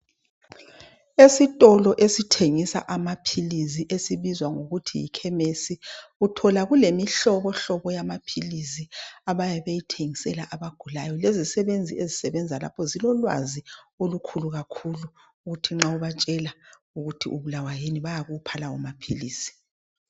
Esitolo esithengisa amaphilisi esibizwa ngokuthi yikhemisi uthola kulemihlobohlobo yamaphilisi abayabe beyithengisela abagulayo lezisebenzi ezisebenza lapho zilolwazi olukhulu kakhulu kuthi nxa ubatshela ukuthi ubulawa yini, bayakupha lawo maphilisi.